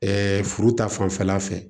furu ta fanfɛla fɛ